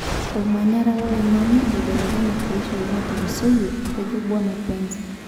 Omanyara loloingange ebelekenye teishoi natulusoyie',Etejo bwana Pence.